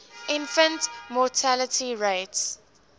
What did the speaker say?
infant mortality rates